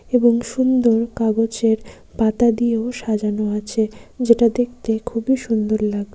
এবং সুন্দর কাগজের পাতা দিয়েও সাজানো আছে | যেটা দেখতে খুবই সুন্দর লাগ --